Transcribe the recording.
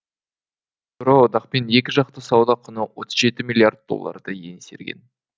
еуроодақпен екіжақты сауда құны отыз жеті миллиард долларды еңсерген